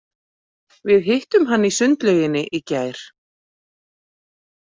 Við hittum hann í sundlauginni í gær.